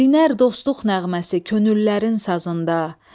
dinər dostluq nəğməsi könüllərin sazında.